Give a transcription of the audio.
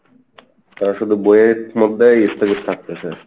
তারা শুধু বইয়ের মধ্যেই স্থগিত থাকতেছে।